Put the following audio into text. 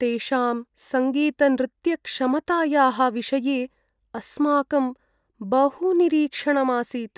तेषां सङ्गीतनृत्यक्षमतायाः विषये अस्माकं बहु निरीक्षणम् आसीत्।